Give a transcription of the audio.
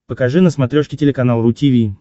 покажи на смотрешке телеканал ру ти ви